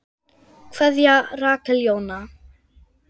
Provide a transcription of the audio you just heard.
Kveðja, Rakel Jóna.